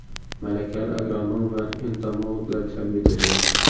Malakali agronom va entomologlar jalb etilgan.